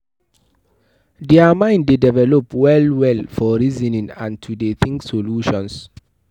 Their mind de develop well well for reasoning and to de think solutions